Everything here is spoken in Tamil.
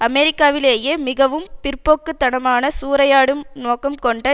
அமெரிக்காவிலேயே மிகவும் பிற்போக்கு தனமான சூறையாடும் நோக்கம் கொண்ட